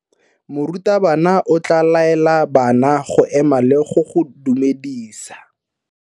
Morutabana o tla laela bana go ema le go go dumedisa.